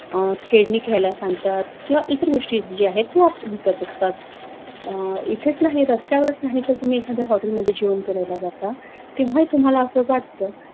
अं खेडनी घायला सांगतात किंव्हा इतर गोष्टी जे आहेत ते विकत असतात अं इथेच नाही रस्त्यावरच नाही त तुम्ही एखाद्या hotel मध्ये जेवन करायला जाता तेव्हा ही तुम्हाला असं वाटत